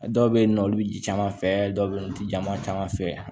Dɔw bɛ yen nɔ olu bɛ ji caman fɛ dɔw bɛ yen olu tɛ ja ma caman fɛ